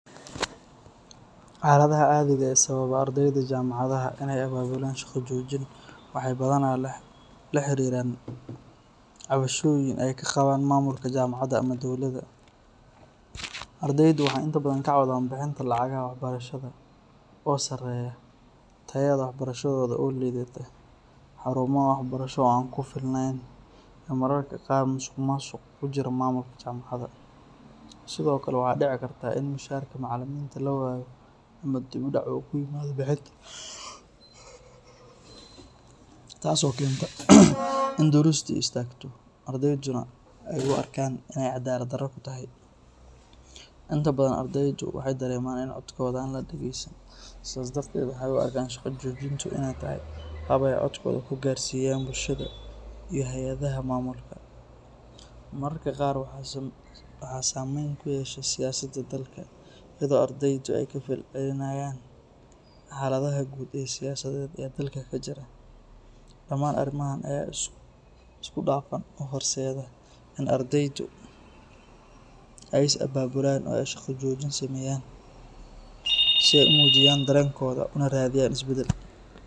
Xaaladaha caadiga ah ee sababa ardeyda jaamacadaha inay abaabulaan shaqo joojin waxay badanaa la xiriiraan cabashooyin ay ka qabaan maamulka jaamacadda ama dowladda. Ardeydu waxay inta badan ka cawdaan bixinta lacagaha waxbarashada oo sareeya, tayada waxbarashada oo liidata, xarumaha waxbarasho oo aan ku filnayn, iyo mararka qaar musuqmaasuq ku jira maamulka jaamacadda. Sidoo kale, waxaa dhici karta in mushaharka macalimiinta la waayo ama dib u dhac uu ku yimaado bixinta, taas oo keenta in duruustii istaagto, ardeyduna ay u arkaan inay cadaalad darro ku tahay. Inta badan ardeydu waxay dareemaan in codkooda aan la dhageysan, sidaas darteed waxay u arkaan shaqo joojintu inay tahay hab ay codkooda ku gaarsiiyaan bulshada iyo hay’adaha maamulka. Mararka qaar waxaa saameyn ku yeesha siyaasadda dalka, iyadoo ardeydu ay ka falcelinayaan xaaladaha guud ee siyaasadeed ee dalka ka jira. Dhamaan arrimahan ayaa si isku dhafan u horseeda in ardeydu ay is abaabulaan oo ay shaqo joojin sameeyaan si ay u muujiyaan dareenkooda una raadiyaan isbeddel.